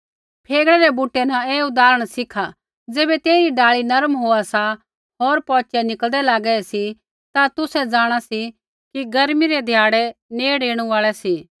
फेगड़ा रै बूटै न ऐ उदाहरण सिखा ज़ैबै तेइरी डाल़ी नरम होआ सा होर पौचै निकल़दै लागा सी ता तुसै जाँणा सी कि गर्मी रै ध्याड़ै नेड़ ऐणु आल़ै सी